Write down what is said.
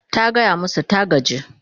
ta gaya masu ta gaji